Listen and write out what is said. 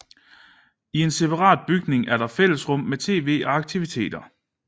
I en separat bygning er der fællesrum med TV og aktiviteter